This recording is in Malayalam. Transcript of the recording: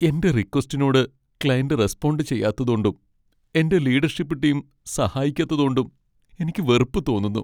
എന്റെ റിക്വസ്റ്റിനോട് ക്ലയൻ്റ് റെസ്പോണ്ട് ചെയ്യാത്തതോണ്ടും, എന്റെ ലീഡർഷിപ്പ് ടീം സഹായിക്കാത്തതോണ്ടും എനിക്ക് വെറുപ്പ് തോന്നുന്നു.